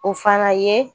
O fana ye